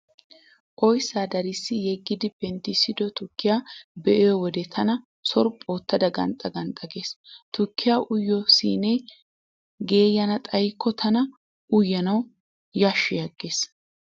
Oyssaa darissi yeggidi penttissido tukkiyaa be'iyo wode tana sorphphu oottada ganxxa ganxxa gees. Tukkiyaa uyiyo siinee geeyyana xayikko tana uyanawu yashshi aggees.